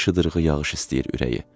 Bir şıdırğı yağış istəyir ürəyi.